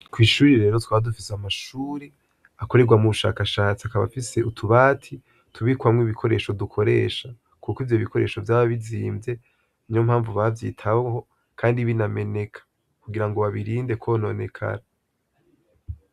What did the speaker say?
Kw'ishure rero twari dufise amashure akorerwamwo ubushakashatsi akaba afise utubati tubikwamwo ibikoresho dukoresha kuko ivyo bikoresho vyaba bizimvye, niyo mpamvu bavyitaho kandi binameneka kugira ngo babirinde kwononekara.